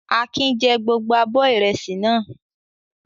Akin jẹ gbogbo abọ́ ìrẹsì náà.